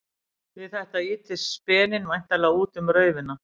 Við þetta ýtist speninn væntanlega út um raufina.